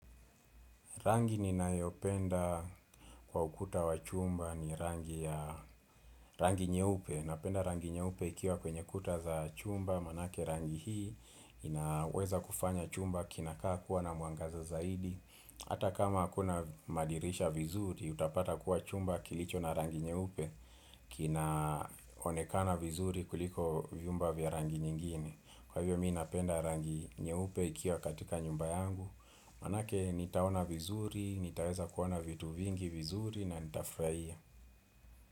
Rangi ni nayopenda kwa ukuta wa chumba ni rangi nyeupe. Napenda rangi nyeupe ikiwa kwenye kuta za chumba. Manake rangi hii inaweza kufanya chumba kinakaa kuwa na muangaza zaidi. Hata kama akuna madirisha vizuri, utapata kuwa chumba kilicho na rangi nyeupe. Kinaonekana vizuri kuliko viumba vya rangi nyingine. Kwa hivyo mi napenda rangi nyeupe ikiwa katika nyumba yangu. Manake nitaona vizuri, nitaeza kuona vitu vingi vizuri na nitafrahia.